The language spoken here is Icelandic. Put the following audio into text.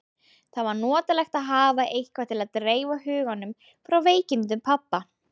Það var notalegt að hafa eitthvað til að dreifa huganum frá veikindum pabba.